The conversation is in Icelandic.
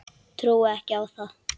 Trúi ekki á það.